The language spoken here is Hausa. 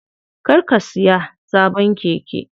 Kar ka siya sabon keke.